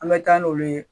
An bɛ taa n'olu ye